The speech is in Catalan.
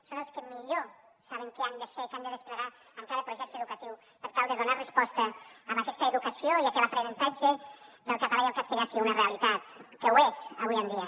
són els que millor saben què han de fer què han de desplegar en cada projecte educatiu per tal de donar resposta a aquesta educació i perquè l’aprenentatge del català i el castellà sigui una realitat que ho és avui en dia